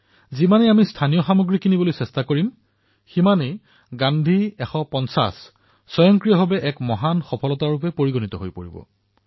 যিমানেই অধিক আমি স্থানীয় সামগ্ৰী ক্ৰয় কৰিম সিমানেই গান্ধী ১৫০ স্বয়ংভাৱে উদযাপিত হব